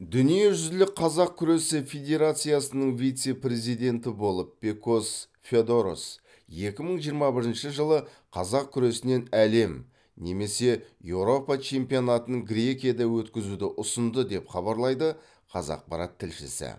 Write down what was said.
дүниежүзілік қазақ күресі федерациясының вице президенті болып пекос феодорос екі мың жиырма бірінші жылы қазақ күресінен әлем немесе еуропа чемпионатын грекияда өткізуді ұсынды деп хабарлайды қазақпарат тілшісі